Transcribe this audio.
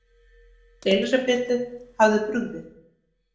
Elísabetu hafði brugðið.